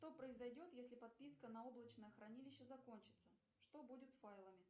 что произойдет если подписка на облачное хранилище закончится что будет с файлами